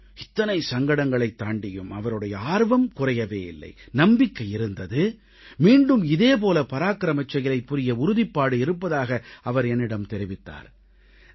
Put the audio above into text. இத்தனை சங்கடங்களைத் தாண்டியும் அவருடைய ஆர்வம் குறையவே இல்லை நம்பிக்கை இருந்தது மீண்டும் இதே போல பராக்கிரச் செயலைப் புரிய உறுதிப்பாடு இருப்பதாக அவர் என்னிடம் தெரிவித்தார்